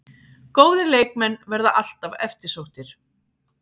Góðir leikmenn verða alltaf eftirsóttir